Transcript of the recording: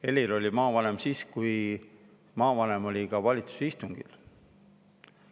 Helir oli maavanem siis, kui maavanem käis ka valitsuse istungil.